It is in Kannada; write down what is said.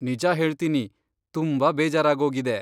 ನಿಜ ಹೇಳ್ತೀನಿ, ತುಂಬಾ ಬೇಜಾರಾಗೋಗಿದೆ.